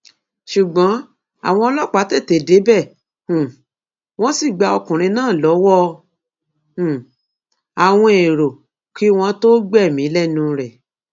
ṣùgbọn àwọn ọlọpàá tètè débẹ um wọn sì gba ọkùnrin náà lọwọ um àwọn èrò kí wọn tóó gbẹmí lẹnu ẹ